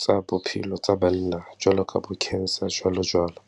tsa bophelo tsa banna, jwalo ka bo cancer jwalojwalo.